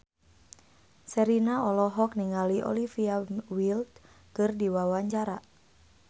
Sherina olohok ningali Olivia Wilde keur diwawancara